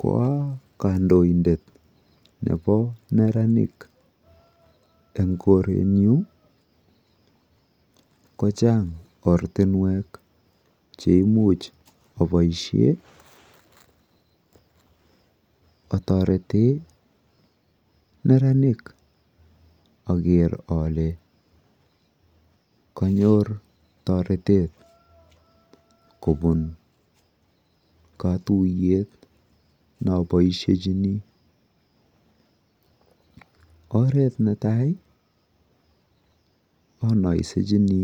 Ko a kandoindet nepo neranik en korenyu ko chang' ortinwek che imuch apaishen atarete neranik aker ale kanyor taretet kopun katuyet ne apishechini. Oret ne tai, anaisechini